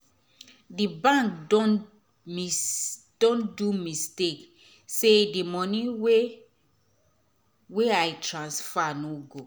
d bank don don do mistake say d moni wey wey i transfer nor go